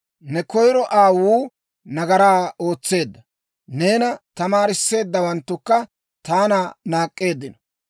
Ne koyiro aawuu nagaraa ootseedda; neena tamaarissiyaawanttukka taana naak'k'eeddino.